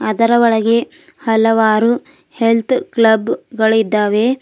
ಅದರ ಒಳಗೆ ಹಲವಾರು ಹೆಲ್ತ್ ಕ್ಲಬ್ ಗಳು ಇದ್ದಾವೆ.